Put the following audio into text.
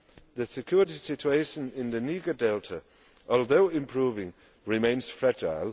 The security situation in the Niger Delta, although improving, remains fragile.